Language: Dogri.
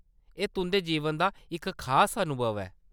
एह्‌‌ तुंʼदे जीवन दा इक खास अनुभव ऐ।